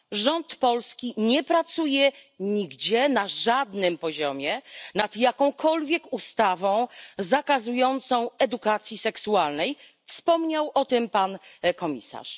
Rząd polski nie pracuje nigdzie, na żadnym poziomie nad jakąkolwiek ustawą zakazującą edukacji seksualnej, wspomniał o tym pan komisarz.